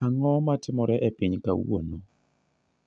Ang'o matimore e piny kawuono